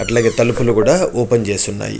అలగే తలుపులు కూడా ఓపెన్ చేసి ఉన్నాయి.